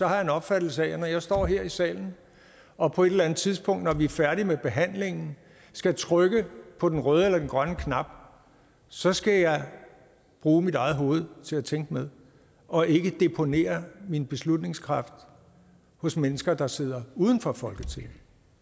har jeg en opfattelse af at når jeg står her i salen og på et eller andet tidspunkt når vi er færdige med behandlingen skal trykke på den røde eller den grønne knap så skal jeg bruge mit eget hoved til at tænke med og ikke deponere min beslutningskraft hos mennesker der sidder uden for folketinget